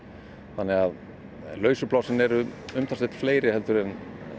þannig að lausu plássin eru umtalsvert fleiri en